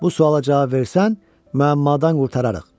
Bu suala cavab versən, müəmmadan qurtararıq.